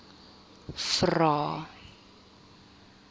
vvvvrae